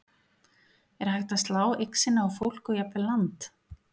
Er hægt að slá eign sinni á fólk og jafnvel land?